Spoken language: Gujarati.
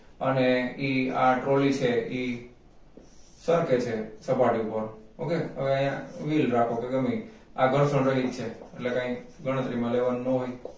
અને ઈ આ trolly છે ઈ surface છે સપાટી ઉપર okay હવે અહીંયા wheel રાખો કે ગમેઈ આ ઘર્ષણ રહિત છે એટલે કાંઈ ગણતરીમાં લેવાનું ન હોય